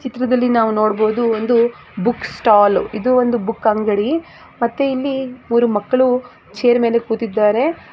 ಈ ಚಿತ್ರದಲ್ಲಿ ನಾವು ನೋಡಬಹುದು ಒಂದು ಬುಕ್ ಸ್ಟಾಲ್ ಇದು ಒಂದು ಬುಕ್ ಅಂಗಡಿ ಮತ್ತೆ ಇಲ್ಲಿ ಮೂರು ಮಕ್ಕಳು ಚೈರ್ ಮೇಲೆ ಕೂತಿದ್ದಾರೆ .